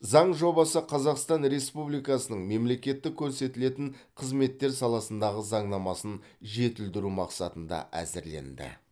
заң жобасы қазақстан республикасының мемлекеттік көрсетілетін қызметтер саласындағы заңнамасын жетілдіру мақсатында әзірленді